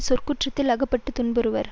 சொற்குற்றத்தில் அகப்பட்டு துன்புறுவர்